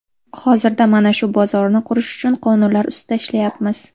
Hozirda mana shu bozorni qurish uchun qonunlar ustida ishlayapmiz.